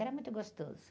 Era muito gostoso.